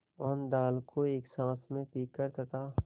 मोहन दाल को एक साँस में पीकर तथा